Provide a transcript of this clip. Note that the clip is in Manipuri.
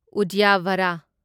ꯎꯗ꯭ꯌꯚꯥꯔꯥ